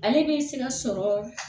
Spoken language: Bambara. Ale bɛ se ka sɔrɔ